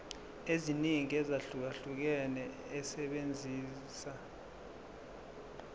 eziningi ezahlukahlukene esebenzisa